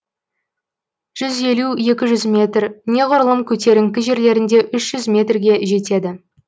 жүз елу екі жүз метр неғұрлым көтеріңкі жерлерінде үш жүз метрге жетеді